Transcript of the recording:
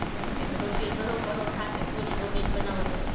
રોટલી કરો, પરોઠા કે પુરી, રોટલી જ બનાવો તમે?